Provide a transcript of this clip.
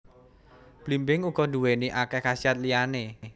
Blimbing uga nduwéni akéh khasiat liyané